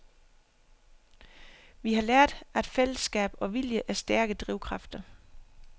Vi har lært, at fællesskab og vilje er stærke drivkræfter.